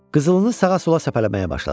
Qızılını sağa-sola səpələməyə başladı.